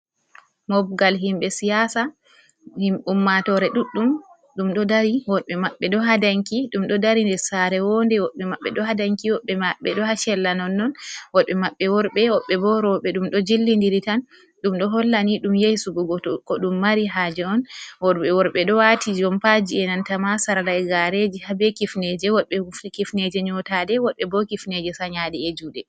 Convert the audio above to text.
Mobgal himɓe siyasa: Ummatore ɗuɗɗum wodɓe maɓɓe ɗo ha danki ɗum ɗo dari nder sare wo'nde. Woɓɓe maɓɓe do ha danki, woɓɓe maɓɓe do ha sella non non, wodɓe maɓɓe worɓe, woɓɓe bo roɓe. Ɗum ɗo jillidiri tan ɗum ɗo hollani ɗum yehi suɓugo ko ɗum mari haje on. Worɓe ɗo wati jompaji e' nanta ma sarla e'gareji harbe kifneje. Wodɓe kifneje nyotaɗe, wodɓe bo kifneje sanyaɗe e' juɗe.